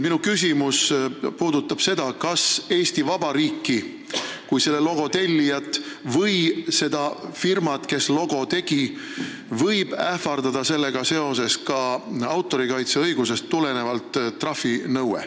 Minu küsimus on, kas Eesti Vabariiki kui selle logo tellijat või seda firmat, kes logo tegi, võib sellega seoses ähvardada autorikaitseõigusest tulenev trahvinõue.